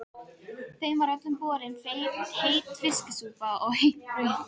Þeim var öllum borin heit fiskisúpa og heitt brauð.